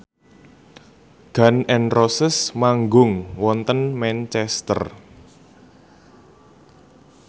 Gun n Roses manggung wonten Manchester